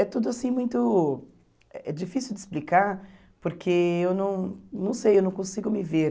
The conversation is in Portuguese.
É tudo, assim, muito... É difícil de explicar, porque eu não não sei, eu não consigo me ver.